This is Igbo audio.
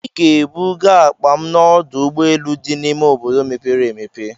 Ị ga-ebuga akpa m n'ọdụ ụgbọ elu dị n'ime obodo mepere emepe!